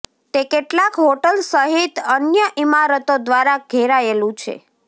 તે કેટલાક હોટલ સહિત અન્ય ઇમારતો દ્વારા ઘેરાયેલું છે